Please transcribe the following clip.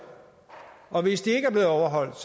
og hvis de ikke er blevet overholdt